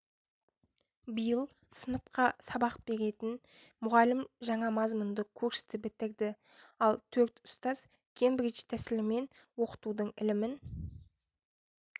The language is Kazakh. биыл сыныпқа сабақ беретін мұғалім жаңа мазмұнды курсты бітірді ал төрт ұстаз кембридж тәсілімен оқытудың ілімін